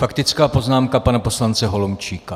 Faktická poznámka pana poslance Holomčíka.